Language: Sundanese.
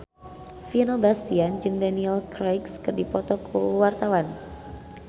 Vino Bastian jeung Daniel Craig keur dipoto ku wartawan